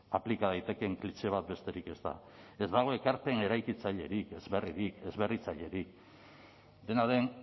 aplika daitekeen klixe bat besterik ez da ez dago ekarpen eraikitzailerik ez berririk ez berritzailerik dena den